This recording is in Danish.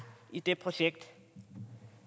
i det projekt